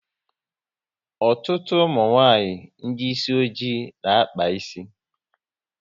Ọtụtụ ụmụnwanyị ndị isi ọjị na akpa ịsị